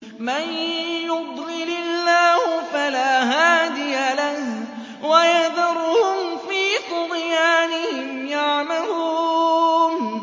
مَن يُضْلِلِ اللَّهُ فَلَا هَادِيَ لَهُ ۚ وَيَذَرُهُمْ فِي طُغْيَانِهِمْ يَعْمَهُونَ